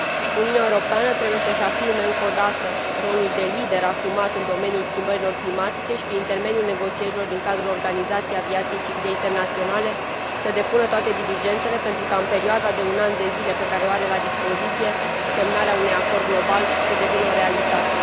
Uniunea Europeană trebuie să își afirme încă o dată rolul de lider asumat în domeniul schimbărilor climatice și, prin intermediul negocierilor din cadrul Organizației Aviației Civile Internaționale, să depună toate diligențele pentru ca în perioada de un an pe care o are la dispoziție, semnarea unui acord global să devină o realitate.